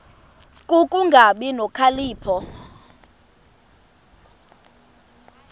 ku kungabi nokhalipho